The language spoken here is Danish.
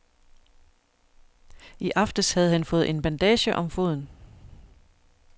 I aftes havde han fået en bandage om foden.